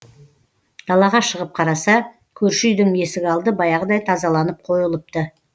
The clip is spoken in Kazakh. далаға шығып қараса көрші үйдің есік алды баяғыдай тазаланып қойылыпты